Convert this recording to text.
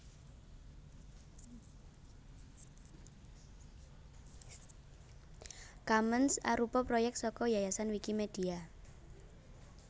Commons arupa proyèk saka Yayasan Wikimedia